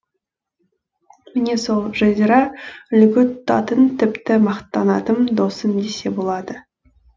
міне сол жазира үлгі тұтатын тіпті мақтанатын досым десе болады